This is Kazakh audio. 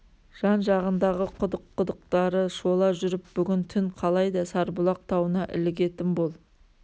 жан-жағындағы құдық-құдықтары шола жүріп бүгін түн қалай да сарбұлақ тауына ілігетін бол